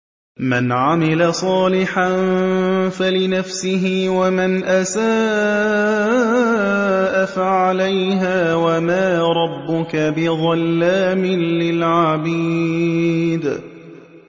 مَّنْ عَمِلَ صَالِحًا فَلِنَفْسِهِ ۖ وَمَنْ أَسَاءَ فَعَلَيْهَا ۗ وَمَا رَبُّكَ بِظَلَّامٍ لِّلْعَبِيدِ